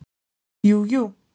JÚ, JÚ.